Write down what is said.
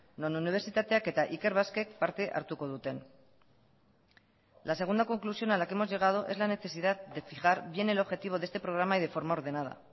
non unibertsitateak eta ikerbasquek parte hartuko duten la segunda conclusión a la que hemos llegado es la necesidad de fijar bien el objetivo de este programa y de forma ordenada